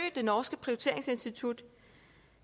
det norske prioriteringsinstitut